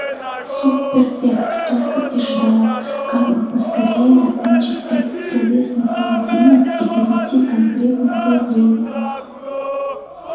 суб-перфект только и ждал как бы поскорее закончить этот словесный поединок и перейти конкретным заявлениям